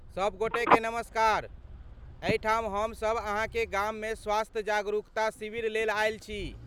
सब गोटेकेँ नमस्कार, एहिठाम हम सब अहाँक गाममे स्वास्थ्य जागरूकता शिविर लेल आयल छी।